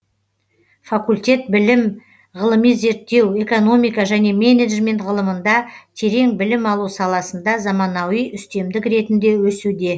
факультет білім ғылыми зерттеу экономика және менеджмент ғылымында терең білім алу саласында заманауи үстемдік ретінде өсуде